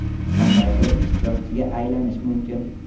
Qanday qilib ishtirokchiga aylanish mumkin?